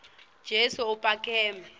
kutsi kube lula